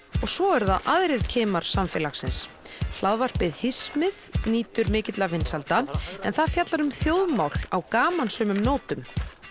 svo eru það aðrir kimar samfélagsins hismið nýtur mikilla vinsælda en að fjallar um þjóðmála á gamansömum nótum